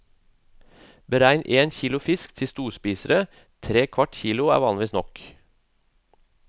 Beregn én kilo fisk til storspisere, tre kvart kilo er vanligvis nok.